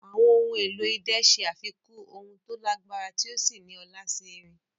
Àwọn ohun èlò idẹ ṣe àfikún ohùn tó lágbára tí ó sì ní ọlá sí orin.